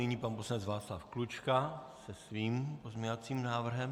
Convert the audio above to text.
Nyní pan poslanec Václav Klučka se svým pozměňovacím návrhem.